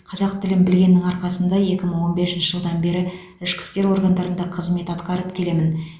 қазақ тілін білгеннің арқасында екі мың он бесінші жылдан бері ішкі істер органдарында қызмет атқарып келемін